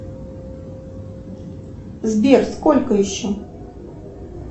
сбер сколько еще